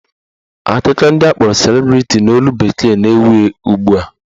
Akụkọ ndị akpọrọ celebrity n'olu bekee na-ewu ugbua